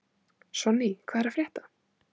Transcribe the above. Sonný, hvað er að frétta?